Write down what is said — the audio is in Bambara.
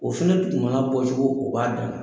O fɛnɛ tun na bɔ kojugu o b'a dan na.